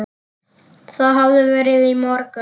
Það hafði verið í morgun.